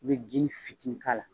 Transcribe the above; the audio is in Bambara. U bɛ jini fitinin k'a la